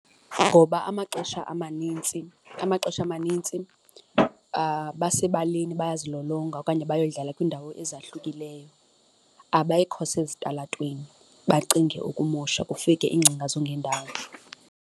Ngoba amaxesha amanintsi, amaxesha amanintsi basebaleni bayazilolonga okanye bayodlala kwiindawo ezahlukileyo, abekho sezitalatweni bacinge ukumosha kufike iingcinga zongendawo.